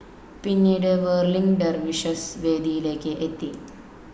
പിന്നീട് whirling dervishes വേദിയിലേക്ക് എത്തി